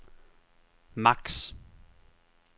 maks